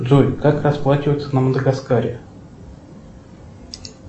джой как расплачиваться на мадагаскаре